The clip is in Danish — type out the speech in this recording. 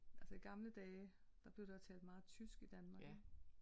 Altså i gamle dage der blev der talt meget tysk i Danmark ik